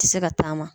Tɛ se ka taama